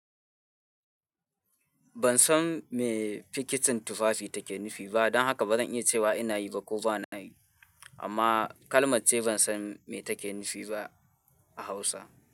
Ban san me fikitin tufafi take nufi ba, don haka ba zan iya cewa ina yi ba ko ba na yi. Amma kalmace ban san me take nufi ba a Hausa.